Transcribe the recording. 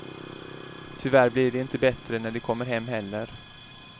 Tyvärr blir det inte bättre när de kommer hem heller.